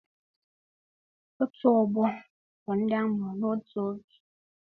Otù ọgbọ bụ ndị amụrụ n'otù oge